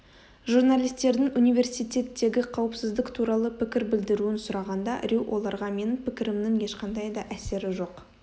журналистердің университеттегі қауіпсіздік туралы пікір білдіруін сұрағанда рью оларға менің пікірімнің ешқандай да әсері жоқ